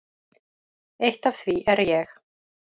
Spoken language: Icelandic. Eitt af því er ég.